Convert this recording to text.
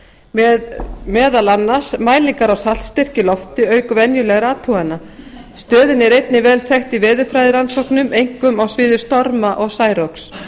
með meðal annars mælingar á saltstyrk í lofti auk venjulegra athugana stöðin er einnig vel þekkt í veðurfræðirannsóknum einkum á sviði storma og særoks